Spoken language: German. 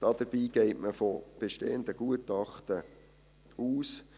Dabei geht man von bestehenden Gutachten aus.